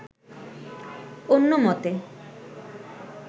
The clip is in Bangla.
অন্য মতে